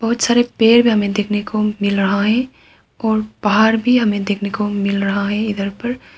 बहुत सारे पेड़ हमें देखने को मिल रहा है और पहाड़ भी हमें देखने को मिल रहा है इधर पर।